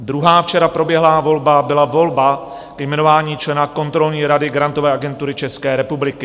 Druhá včera proběhlá volba byla volba ke jmenování člena kontrolní rady Grantové agentury České republiky.